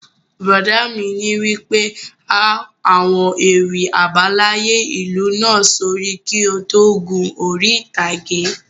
Bùrọ̀dá mi wí pé 'há àwọn ewì àbáláyé ìlú náà sórí kí o tó gun orí ìtàgé